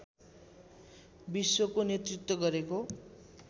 विश्वको नेतृत्व गरेको